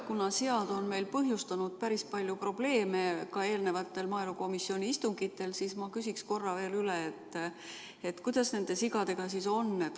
Kuna sead on meil põhjustanud päris palju probleeme ka eelnevatel maaelukomisjoni istungitel, siis ma küsiks korra veel üle, kuidas nende sigadega on.